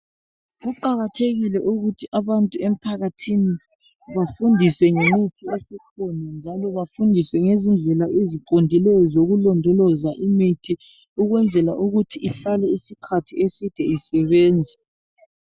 Kuqakathekile ukuthi abantu emphakathini bafundiswe ngemithi esikhona njalo bafundiswe ngezindlela eziqondileyo zokulondoloza imithi ukwenzela ukuthi ihlale isikhathi eside isebenza